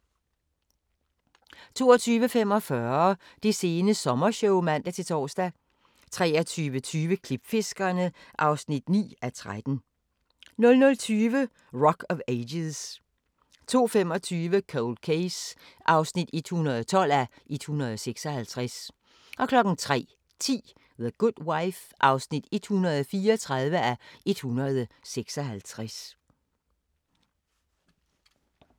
22:45: Det sene sommershow (man-tor) 23:20: Klipfiskerne (9:13) 00:20: Rock of Ages 02:25: Cold Case (112:156) 03:10: The Good Wife (134:156)